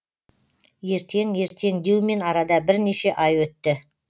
ертең ертең деумен арада бірнеше ай өтті